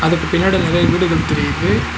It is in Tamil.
அதுக்கு பின்னாடி நெறைய வீடுகள் தெரியுது.